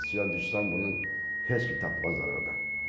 İndi su düşsən bunu heç kim tapmaz ordan.